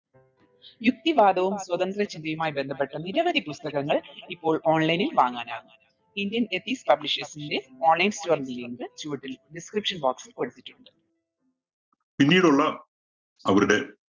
പിന്നീടുള്ള അവരുടെ